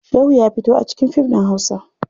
Shehu ya fito a cikin fim ɗin hausa.